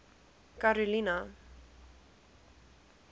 karolina